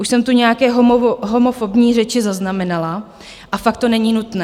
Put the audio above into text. Už jsem tu nějaké homofobní řeči zaznamenala a fakt to není nutné.